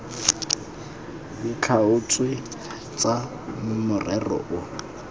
di tlhaotsweng tsa morero o